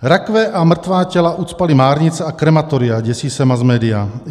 Rakve a mrtvá těla ucpaly márnice a krematoria, děsí se masmédia.